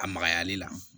A magayali la